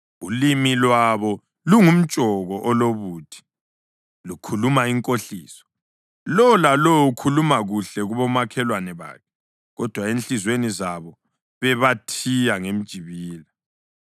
Ulimi lwabo lungumtshoko olobuthi, lukhuluma inkohliso. Lowo lalowo ukhuluma kuhle kubomakhelwane bakhe, kodwa enhliziyweni zabo bebathiya ngemijibila.